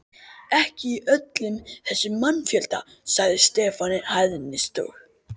Ekki í öllum þessum mannfjölda, sagði Stefán í hæðnistón.